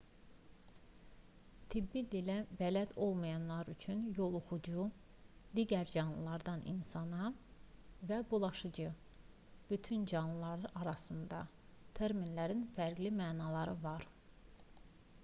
tibbi dilə bələd olmayanlar üçün yoluxucu digər canlılardan insana və bulaşıcı bütün canlılar arasında terminlərinin fərqli mənaları var